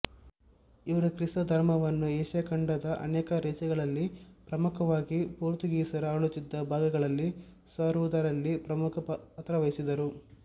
ಇವರು ಕ್ರಿಸ್ತ ಧರ್ಮವನ್ನು ಏಷ್ಯಾ ಖಂಡದ ಅನೇಕ ದೇಶಗಳಲ್ಲಿ ಪ್ರಮುಕವಾಗಿ ಪೋರ್ತುಗೀಸರು ಆಳುತಿದ್ದ ಭಾಗಗಳಲ್ಲಿ ಸಾರುವುದರಲ್ಲಿ ಪ್ರಮುಖ ಪಾತ್ರವಹಿಸಿದರು